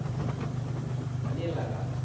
பண்ணிடலாம்கா